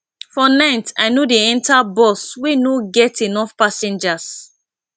for night i no dey enta bus wey no get enough passengers